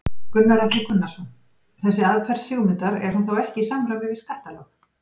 Gunnar Atli Gunnarsson: Þessi aðferð Sigmundar er hún þá ekki í samræmi við skattalög?